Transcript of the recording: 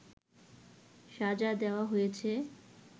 সাজা দেওয়া হয়েছে